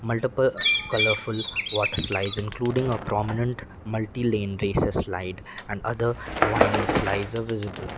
multiple colourful waterslides including a prominent multi lane races slide and other winding slides are visible.